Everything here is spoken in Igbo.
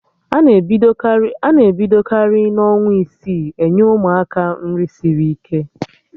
Ana ebidokarị n'ọnwa isii enye Ụmụaka nri sịrị ike